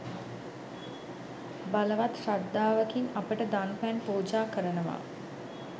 බලවත් ශ්‍රද්ධාවකින් අපට දන් පැන් පූජා කරනවා.